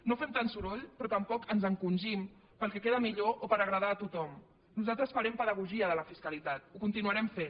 no fem tan soroll però tampoc ens encongim pel que queda millor o per agradar a tothom nosaltres farem pedagogia de la fiscalitat en continuarem fent